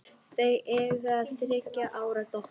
Þau eiga þriggja ára dóttur.